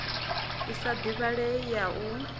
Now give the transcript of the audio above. i sa divhalei ya u